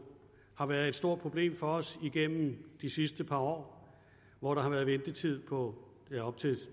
har været et stort problem for os igennem de sidste par år hvor der har været ventetid på op til